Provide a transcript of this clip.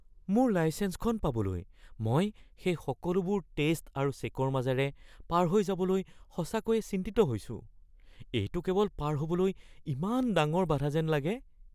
মোৰ লাইছেঞ্চখন পাবলৈ মই সেই সকলোবোৰ টেষ্ট আৰু চে'কৰ মাজেৰে পাৰ হৈ যাবলৈ সঁচাকৈয়ে চিন্তিত হৈছো। এইটো কেৱল পাৰ হ'বলৈ ইমান ডাঙৰ বাধা যেন লাগে।